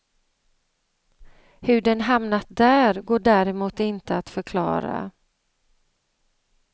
Hur den hamnat där går däremot inte att förklara.